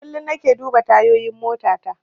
Kullum nake duba tayoyin motata.